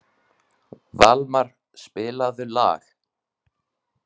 Valmar, spilaðu lag.